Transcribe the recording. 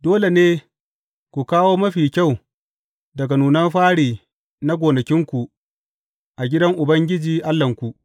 Dole ne ku kawo mafi kyau daga nunan fari na gonakinku a gidan Ubangiji Allahnku.